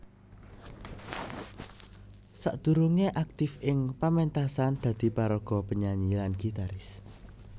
Sakdurungé aktif ing paméntasan dadi paraga penyanyi lan gitaris